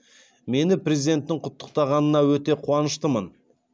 мені президенттің құттықтағанына өте қуаныштымын